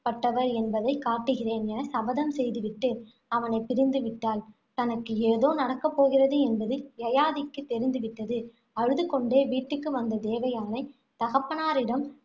பட்டவர் என்பதைக் காட்டுகிறேன், என சபதம் செய்து விட்டு, அவனைப் பிரிந்து விட்டாள். தனக்கு ஏதோ நடக்கப் போகிறது என்பது யயாதிக்கு தெரிந்து விட்டது. அழுதுகொண்டே வீட்டுக்கு வந்த தேவயானை, தகப்பனாரிடம்